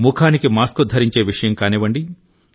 ముఖానికి మాస్క్ ధరించే విషయం కానివ్వండి